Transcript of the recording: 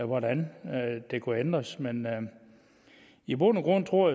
hvordan det kunne ændres men i bund og grund tror